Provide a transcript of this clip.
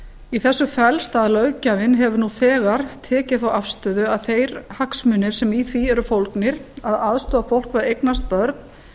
í þessu felst að löggjafinn hefur nú þegar tekið þá afstöðu að þeir hagsmunir sem í því eru fólgnir að aðstoða fólk við að eignast börn